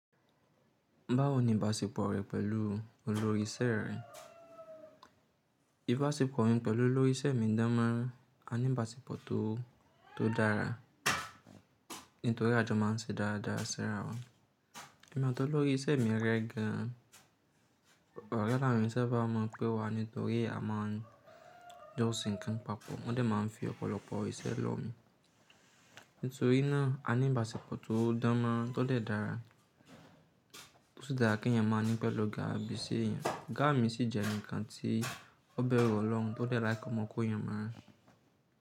Báwo ni ìbáṣepọ̀ rẹ pẹ̀lú olórí iṣẹ́ rẹ? Ìbáṣepọ̀ mi pẹ̀lú olórí iṣẹ́ mi dán mọ́ran, a ní ìbáṣepọ̀ tó, tó dára. Nítorí àjọ máa n ṣe dáadáa síra wa. Ẹ̀mi ati olórí iṣẹ́ mi rẹ gan. Ọ̀rẹ́ là wọ́n eyan sa bá mọ̀ pé wa nítorí a máa n jọ́ se nkan papọ̀. Wọ́n dẹ̀ máa n fi ọ̀pọ̀lọpọ̀ isẹ́ lọ̀ mi. Nítorí náà a ní ìbáṣepọ̀ tó dán mọ́ ran tó dẹ̀ dára. Ó sì dára kí ènìyàn máa ní pẹ̀lú oga ibi se ènìyàn. Oga mi sì jẹ́ eǹi kan tí ó bẹ̀rù ọlọ́run tó dẹ̀ like kọmọkọ́ ènìyàn mọ́.